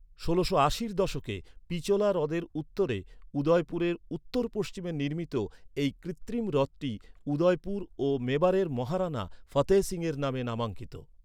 ষোলোশো আশির দশকে পিচোলা হ্রদের উত্তরে উদয়পুরের উত্তর পশ্চিমে নির্মিত এই কৃত্রিম হ্রদটি উদয়পুর ও মেবারের মহারানা ফতেহ সিংয়ের নামে নামাঙ্কিত।